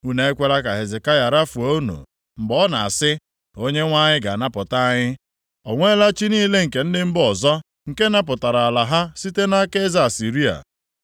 “Unu ekwela ka Hezekaya rafuo unu mgbe ọ na-asị, ‘ Onyenwe anyị ga-anapụta anyị.’ O nweela chi niile nke ndị mba ọzọ, nke napụtarala ala ha site nʼaka eze Asịrịa.